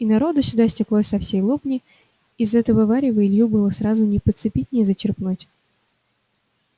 и народу сюда стеклось со всей лобни из этого варева илью было сразу не подцепить не зачерпнуть